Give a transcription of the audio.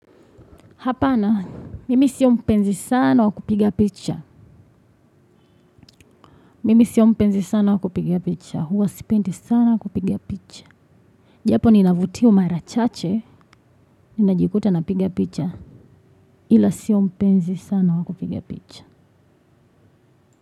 Hapana, mimi siyo mpenzi sana wakupiga picha. Mimi siyo mpenzi sana wa kupiga picha. Huwa sipendi sana kupiga picha. Japo ninavutiwa mara chache. Ninajikuta napiga picha. Ila siyo mpenzi sana wa kupiga picha.